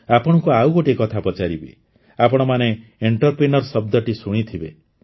ଆପଣଙ୍କୁ ଆଉ ଗୋଟିଏ କଥା ପଚାରିବି ଆପଣମାନେ ଏଣ୍ଟରପ୍ରିନିୟର୍ ଶବ୍ଦଟି ଶୁଣିଥିବେ